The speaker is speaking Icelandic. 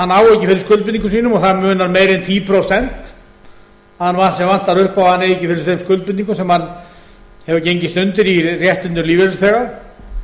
ekki fyrir skuldbindingum sínum og það munar meiru en tíu prósent sem vantar upp á að hann eigi ekki fyrir þeim skuldbindingum sem hann hefur gengist undir í réttindum lífeyrisþega